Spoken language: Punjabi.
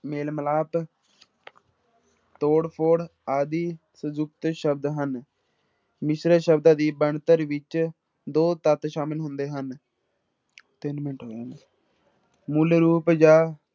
ਮੇਲ ਮਿਲਾਪ ਤੋੜ ਫੋੜ ਆਦਿ ਸੰਯੁਕਤ ਸ਼ਬਦ ਹਨ, ਮਿਸ਼ਰਤ ਸ਼ਬਦਾਂ ਦੀ ਬਣਤਰ ਵਿੱਚ ਦੋ ਤੱਤ ਸ਼ਾਮਿਲ ਹੁੰਦੇ ਹਨ ਤਿੰਨ ਮਿੰਟ ਮੂਲ ਰੂਪ ਜਾਂ